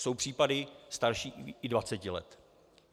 Jsou případy starší i dvaceti let.